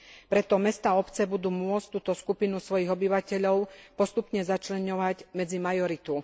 Preto mestá a obce budú môcť túto skupinu svojich obyvateľov postupne začleňovať medzi majoritu.